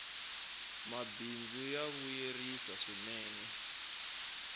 mabindzu ya vuyerisa swinee